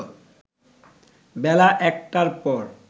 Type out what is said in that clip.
বেলা ১টার পর